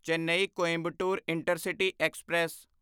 Chennai Coimbatore intercity express